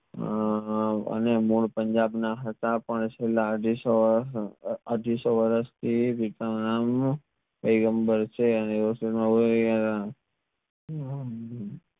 આ આ અને મૂડ પંજાબ ના હતા પણ છેલ્લા અઢીસો વરસ થી અઢીસો વરસ થી પૈગમ્બર